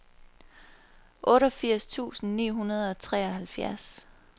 otteogfirs tusind ni hundrede og treoghalvfjerds